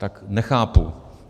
Tak nechápu.